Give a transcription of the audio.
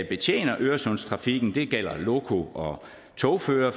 betjener øresundstrafikken det gælder loko og togførere